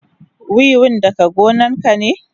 Wiwin daga gonan ka ne?